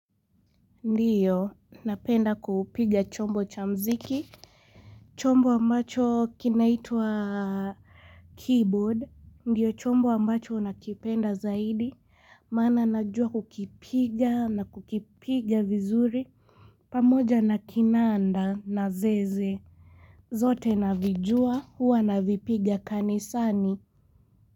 Ndiyo napenda kupiga chombo chamuziki chombo ambacho kinaitwa keyboard Ndiyo chombo ambacho nakipenda zaidi maana najua kukipiga na kukipiga vizuri pamoja na kinanda na zeze zote navijua hua navipiga kanisani.